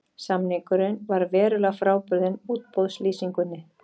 Samningurinn var verulega frábrugðinn útboðslýsingunni